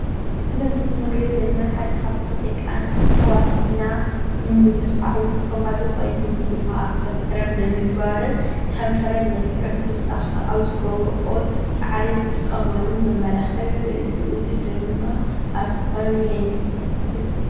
እዚ ኣብ ምስሊ እንሪኦ ዘለና ሓደ ካብቶም ደቂ አነስትዮ ኣሕዋትና ንምምልካዕ ዝጥቀማሉ ኮይኑ እዚ ድማ ኣብ ከንፈረን ብምግባር ንከንፈረን መልክዕ ንክውስካን አብ ዝገብረኦ ፃዕሪ ዝጥቀማሉ መመላኪዒ እዩ፡፡ እዚ ድማ ኣብ ዝተፈላለዩ ናይ ንግዲታት ቦታ ይርከብ፡፡